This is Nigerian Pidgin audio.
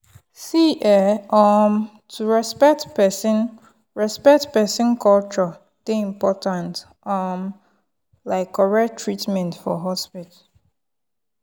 see[um][um] to respect person respect person culture dey important um like correct treatment for hospital. um